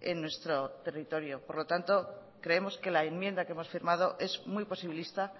en nuestro territorio por lo tanto creemos que la enmienda que hemos firmado es muy posibilista